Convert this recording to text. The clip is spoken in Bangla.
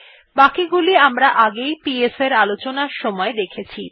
বাকিগুলি আমরা আগে পিএস আলোচনার সময় দেখেছি